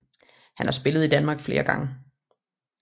Han har spillet i Danmark flere gange